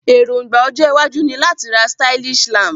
Èróngbà ojó iwájú ni láti ra stylish lamp